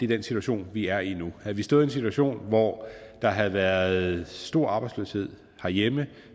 den situation vi er i nu havde vi stået i en situation hvor der havde været stor arbejdsløshed herhjemme